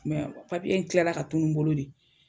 kilala ka tunun n bolo de